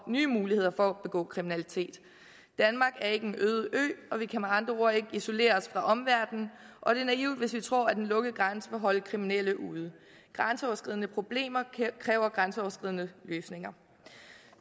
nye muligheder for at begå kriminalitet danmark er ikke en øde ø og vi kan med andre ord ikke isolere os fra omverdenen og det er naivt hvis vi tror at en lukket grænse vil holde kriminelle ude grænseoverskridende problemer kræver grænseoverskridende løsninger